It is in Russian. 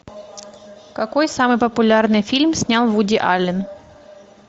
какой самый популярный фильм снял вуди аллен